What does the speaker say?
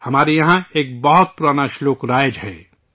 ہمارے یہاں ایک بہت پرانا شلوک مشہور ہے